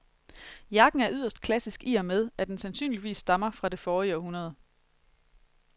Jakken er yderst klassisk i og med, at den sandsynligvis stammer fra det forrige århundrede.